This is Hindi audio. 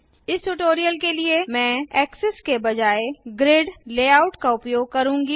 इस ट्यूटोरियल के लिए मैं एक्सेस के बजाय ग्रिड लेआउट का उपयोग करुँगी